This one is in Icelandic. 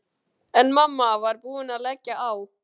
En mamma var búin að leggja á.